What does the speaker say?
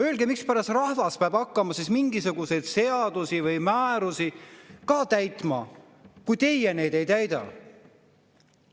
Öelge, mispärast rahvas peab hakkama mingisuguseid seadusi või määrusi täitma, kui teie neid ei täida?